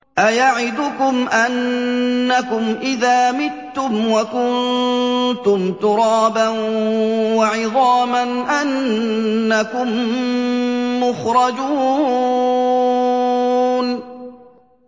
أَيَعِدُكُمْ أَنَّكُمْ إِذَا مِتُّمْ وَكُنتُمْ تُرَابًا وَعِظَامًا أَنَّكُم مُّخْرَجُونَ